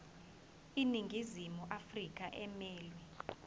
iningizimu afrika emelwe